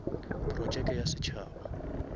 projeke ya setšhaba